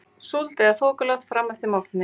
Súld eða þokuloft fram eftir morgni